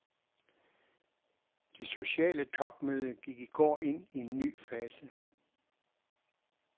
Det sociale topmøde gik i går ind i en ny fase.